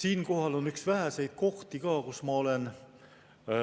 Siinkohal on üks väheseid kohti, kus ma olen